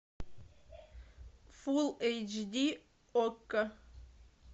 фул эйч ди окко